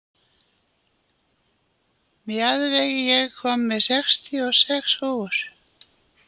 Mjaðveig, ég kom með sextíu og sex húfur!